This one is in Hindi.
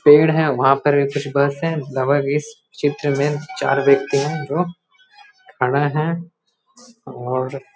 पेड़ हैंवहाँ पर कुछ बस है लावारिस चित्र में चार व्यक्ति है जो खड़ा है और --